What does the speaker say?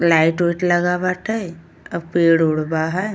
Light ओइट लगा बाटे आ पेड़ ओड़ बा है।